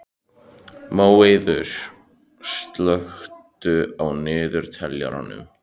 Móeiður, slökktu á niðurteljaranum.